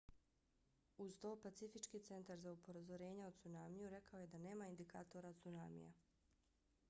uz to pacifički centar za upozorenja o cunamiju rekao je da nema indikatora cunamija